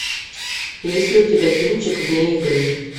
есть ли у тебя кинчик вне игры